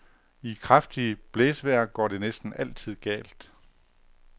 I kraftigt blæsevejr går det næsten altid galt.